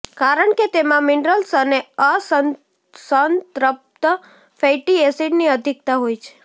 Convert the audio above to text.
કારણ કે તેમા મિનરલ્સ અને અસંત્રપ્ત ફૈટી એસિડની અધિકતા હોય છે